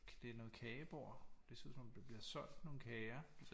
Det er noget kagebord det ser ud som om der bliver solgt nogle kager